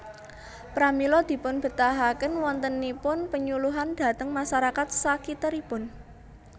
Pramila dipunbetahaken wontenipun penyuluhan dhateng masarakat sakiteripun